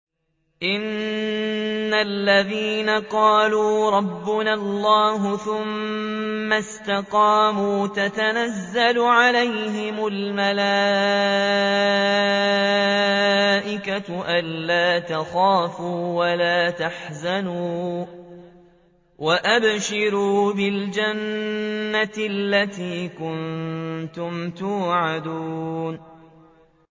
إِنَّ الَّذِينَ قَالُوا رَبُّنَا اللَّهُ ثُمَّ اسْتَقَامُوا تَتَنَزَّلُ عَلَيْهِمُ الْمَلَائِكَةُ أَلَّا تَخَافُوا وَلَا تَحْزَنُوا وَأَبْشِرُوا بِالْجَنَّةِ الَّتِي كُنتُمْ تُوعَدُونَ